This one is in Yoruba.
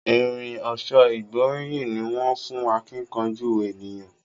Irin ọ̀ṣọ́ ìgbóríyìn ní wón fún akíkanjú ènìyàn.